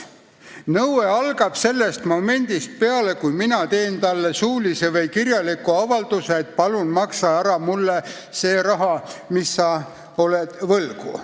Nõue algab sellest momendist peale, kui mina teen talle suulise või kirjaliku avalduse, et palun maksa ära mulle see raha, mis sa oled mulle võlgu.